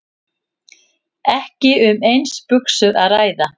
Ekki um eins buxur að ræða